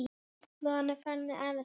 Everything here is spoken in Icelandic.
Tryggur og trúr í öllu.